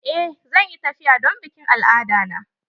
Eh zan yi tafiya don bikin al'ada na.